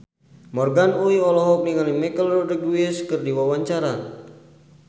Morgan Oey olohok ningali Michelle Rodriguez keur diwawancara